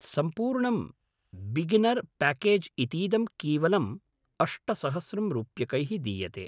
सम्पूर्णं beginner package इतीदं कीवलं अष्टसहस्रं रूप्यकैः दीयते।